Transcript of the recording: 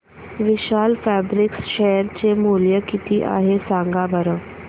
विशाल fabrics share चे मूल्य किती आहे सांगा बरं